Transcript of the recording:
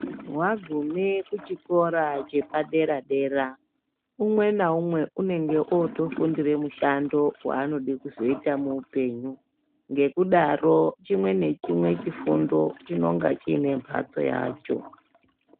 Wagume ku chikora chepa dera dera umwe na umwe unenge oto fundire mushando wa anode kuzoita mu upenyu ngekudaro chimwe ne chimwe chifundo chinonga chiine mbatso yacho.